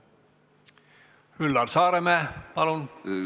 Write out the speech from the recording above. Üllar Saaremäe, palun!